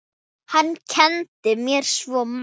Hann kenndi mér svo margt.